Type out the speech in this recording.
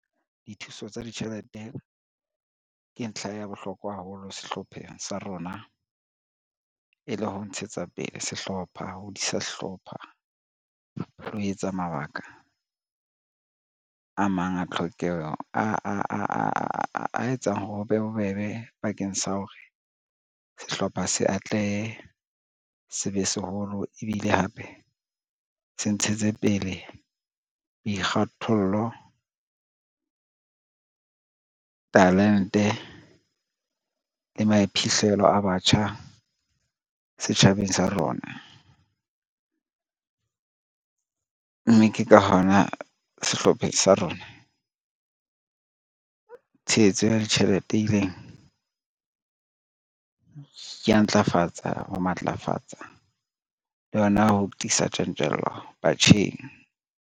Dithuso tsa ditjhelete ke ntlha ya bohlokwa haholo sehlopheng sa rona e le ho ntshetsa pele sehlopha, ho hodisa sehlipha le ho etsa mabaka a mang a tlhokeho a etsang hore ho be bobebe bakeng sa hore sehlopha se atlehe, se be seholo ebile hape se ntshetse pele boikgathollo, talente le maiphihlelo a batjha setjhabeng sa rona, mme ke ka hona sehlopheng sa rona tshehetso ya ditjhelete e ileng ya ntlafatsa, ho matlafatsa le hona ho tiisa tjantjello batjheng.